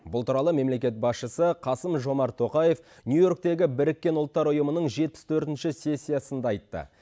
бұл туралы мемлекет басшысы қасым жомарт тоқаев нью йорктегі біріккен ұлттар ұйымының жетпіс төртінші сессиясында айтты